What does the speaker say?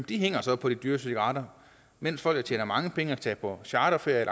de hænger så på de dyre cigaretter mens folk der tjener mange penge og tager på charterferie